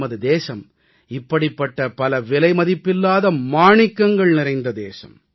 நமது தேசம் இப்படிப்பட்ட பல விலைமதிப்பில்லாத மாணிக்கங்கள் நிறைந்த தேசம்